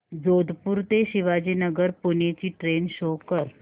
जोधपुर ते शिवाजीनगर पुणे ची train show कर